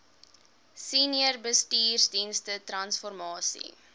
senior bestuursdienste transformasie